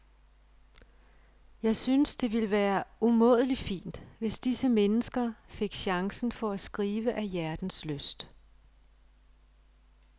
Jeg synes, det ville være umådelig fint, hvis disse mennesker fik chancen for at skrive af hjertens lyst.